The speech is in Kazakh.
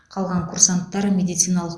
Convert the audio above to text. қалған курсанттар медициналық